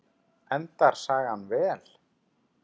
Endar sagan vel?